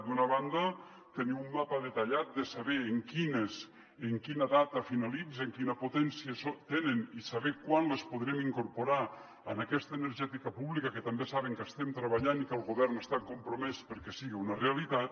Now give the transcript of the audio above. d’una banda tenir un mapa detallat de saber en quina data finalitzen quina potència tenen i saber quan les podrem incor·porar en aquesta energètica pública que també saben que estem treballant i que el govern està compromès perquè sigui una realitat